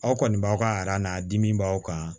Aw kɔni b'aw ka na dimi b'aw kan